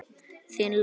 Þín Lóa.